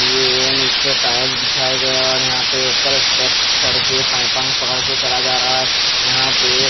ये निचे टाईल्स बिछाई गए और यहाँ पर ऊपर स्टेप्स चढ़ के पयपा पकड़के चढ़ा जा रहा है यहाँ पे--